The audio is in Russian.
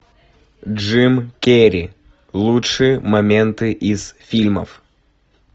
джим керри лучшие моменты из фильмов